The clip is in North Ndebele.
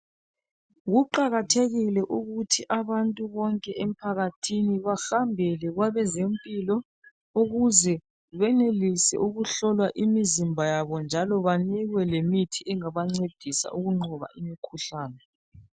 Kuqakathekile ukuthi abantu bonke emphakathini bahambele kwabezempilo ukuze benelise ukuhlolwa imizimba yabo njalo banikwe lemithi engabancedisa ukunqoba imikhuhlane.